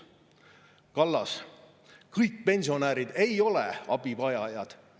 " Kallas: "Ega kõik pensionärid ei ole abivajajad.